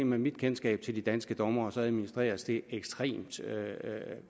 med mit kendskab til de danske dommere administreres det ekstremt